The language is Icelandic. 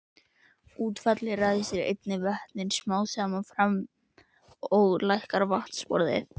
Útfallið ræsir einnig vötnin smám saman fram og lækkar vatnsborðið.